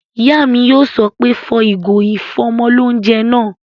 Ìyá mi yóò sọ pé "fọ ìgò ìfọ́mọlóunjẹ náà!"